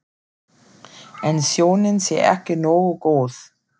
En sjónin sé ekki nógu góð.